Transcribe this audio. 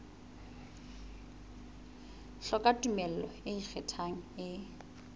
hloka tumello e ikgethang e